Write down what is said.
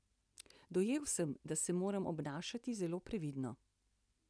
Dojel sem, da se moram obnašati zelo previdno.